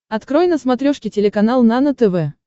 открой на смотрешке телеканал нано тв